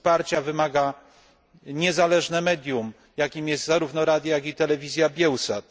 Wsparcia wymaga niezależne medium, jakim jest zarówno radio, jak i telewizja Biełsat.